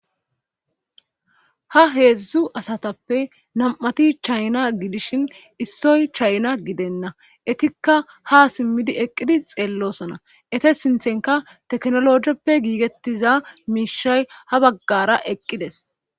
Ha heedzdzu asatappe nam'ati chayna gidishin issoy chayna gidenna etikka ha simmidi eqqidi xeellosona ete sinthenka teknologeppe giigettiza miishay ha baggara eqqides